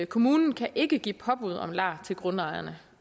kommunen kan ikke give påbud om lar til grundejerne